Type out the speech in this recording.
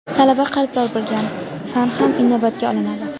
talaba qarzdor bo‘lgan fan ham inobatga olinadi.